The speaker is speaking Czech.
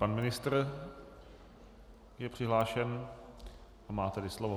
Pan ministr je přihlášen, a má tedy slovo.